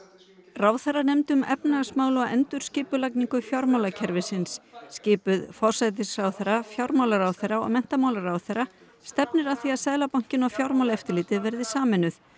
ráðherranefnd um efnahagsmál og endurskipulagningu fjármálakerfisins skipuð forsætisráðherra fjármálaráðherra og menntamálaráðherra stefnir að því að Seðlabankinn og Fjármálaeftirlitið verði sameinuð